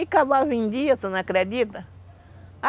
E cavalo vendia, tu não acredita?